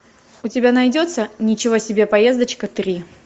у тебя найдется ничего себе поездочка три